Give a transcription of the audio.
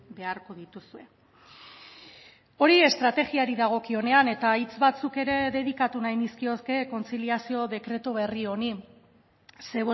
beharko dituzue hori estrategiari dagokionean eta hitz batzuk ere dedikatu nahi nizkioke kontziliazio dekretu berri honi ze